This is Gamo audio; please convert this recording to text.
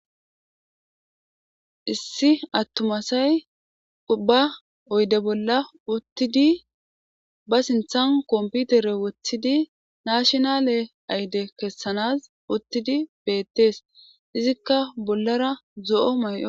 Issi atuma asay ba uyde bolla utidi ba sinthan competer woxidi natinal idi kesanas utidi betes izikka bollara zo'o mayo